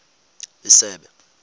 isebe